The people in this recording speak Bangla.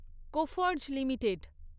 কোফর্জ লিমিটেড